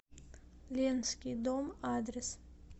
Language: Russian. ленский дом адрес